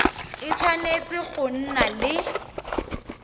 e tshwanetse go nna le